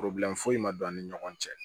foyi ma don an ni ɲɔgɔn cɛ